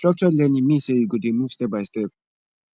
structured learning mean sey you go dey move step by step